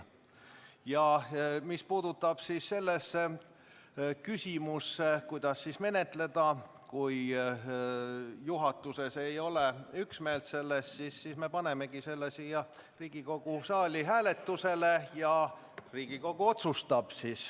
Ja mis puudutab küsimust, kuidas menetleda, kui juhatuses ei ole üksmeelt, siis me panemegi selle siin Riigikogu saalis hääletusele ja Riigikogu otsustab.